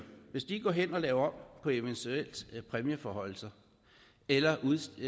går hen og laver om på eventuelle præmieforhøjelser eller